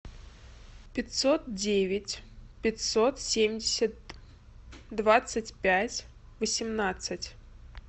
пятьсот девять пятьсот семьдесят двадцать пять восемнадцать